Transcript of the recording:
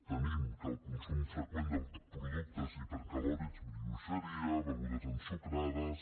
tenim que el consum freqüent de productes hipercalòrics brioxeria begudes ensucrades